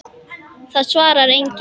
Það svarar enginn